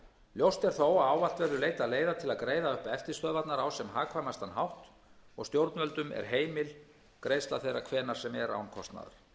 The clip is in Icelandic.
ljóst er þó að ávallt verður leitað leiða til greiða upp eftirstöðvarnar á sem hagkvæmastan hátt og stjórnvöldum er heimil greiðsla þeirra hvenær sem er án